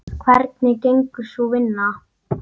Hvernig gengur sú vinna?